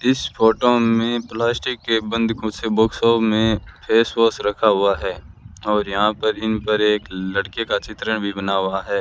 इस फोटो में प्लास्टिक के बंद बॉक्स में फेस वॉश रखा हुआ है और यहां पर इन पर एक लड़के का चित्रण भी बना हुआ है।